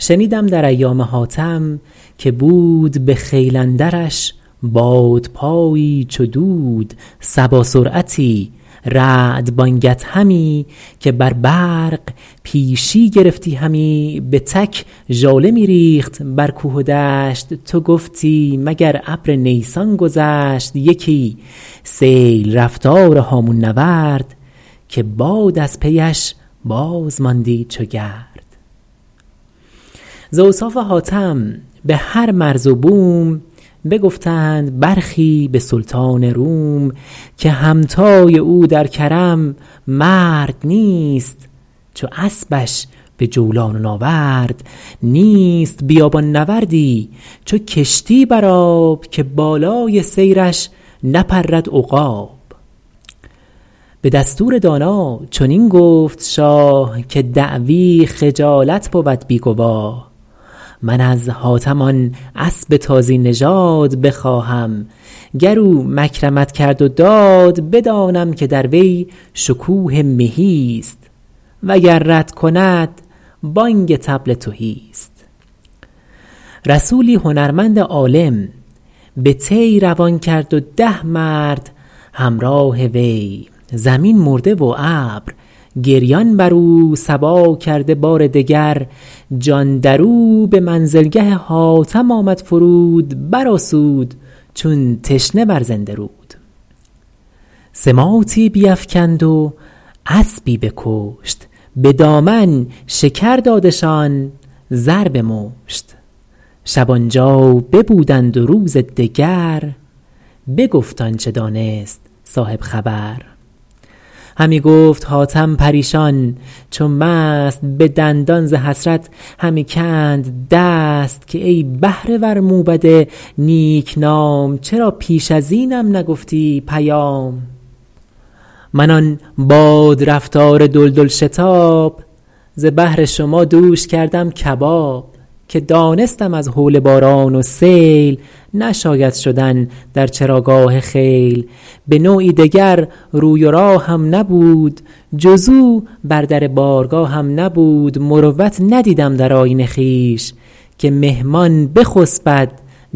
شنیدم در ایام حاتم که بود به خیل اندرش بادپایی چو دود صبا سرعتی رعد بانگ ادهمی که بر برق پیشی گرفتی همی به تک ژاله می ریخت بر کوه و دشت تو گفتی مگر ابر نیسان گذشت یکی سیل رفتار هامون نورد که باد از پی اش باز ماندی چو گرد ز اوصاف حاتم به هر مرز و بوم بگفتند برخی به سلطان روم که همتای او در کرم مرد نیست چو اسبش به جولان و ناورد نیست بیابان نورد ی چو کشتی بر آب که بالای سیرش نپرد عقاب به دستور دانا چنین گفت شاه که دعوی خجالت بود بی گواه من از حاتم آن اسب تازی نژاد بخواهم گر او مکرمت کرد و داد بدانم که در وی شکوه مهی ست وگر رد کند بانگ طبل تهی ست رسولی هنرمند عالم به طی روان کرد و ده مرد همراه وی زمین مرده و ابر گریان بر او صبا کرده بار دگر جان در او به منزل گه حاتم آمد فرود بر آسود چون تشنه بر زنده رود سماطی بیفکند و اسبی بکشت به دامن شکر دادشان زر به مشت شب آن جا ببودند و روز دگر بگفت آنچه دانست صاحب خبر همی گفت حاتم پریشان چو مست به دندان ز حسرت همی کند دست که ای بهره ور موبد نیک نام چرا پیش از اینم نگفتی پیام من آن باد رفتار دلدل شتاب ز بهر شما دوش کردم کباب که دانستم از هول باران و سیل نشاید شدن در چراگاه خیل به نوعی دگر روی و راهم نبود جز او بر در بارگاهم نبود مروت ندیدم در آیین خویش که مهمان بخسبد